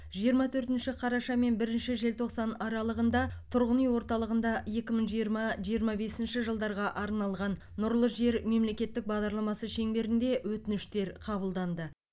жиырма төртінші қараша мен бірінші желтоқсан аралығында тұрғын үй орталығында екі мың жиырма жиырма бесінші жылдарға арналған нұрлы жер мемлекеттік бағдарламасы шеңберінде өтініштер қабылданды